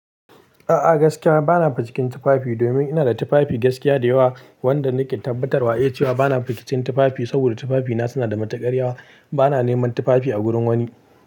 A'a gaskiya bana cikin tufafi domin ina da tufafi gaskiya da yawa wanda nake tabbatarwa iya cewa bana cikin tufafi saboda tufafina suna da matuƙarya yawa. Bana neman tufafi a gurin wani.